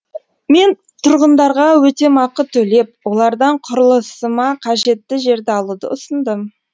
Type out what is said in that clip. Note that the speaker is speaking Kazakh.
мен тұрғындарға өтемақы төлеп олардан құрылысыма қажетті жерді алуды ұсындым